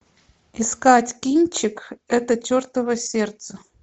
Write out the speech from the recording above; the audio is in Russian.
искать кинчик это чертово сердце